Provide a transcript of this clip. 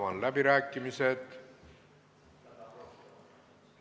Avan läbirääkimised.